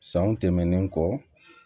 Sanw tɛmɛnen kɔ